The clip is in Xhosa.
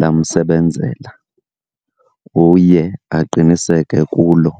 lamsebenzela, uye aqiniseke kulo.